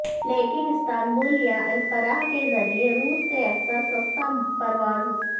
لیکن استنبول یا انقرہ کے ذریعے روس سے اکثر سستا پرواز